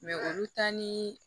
olu ta ni